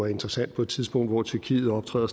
interessant på et tidspunkt hvor tyrkiet optræder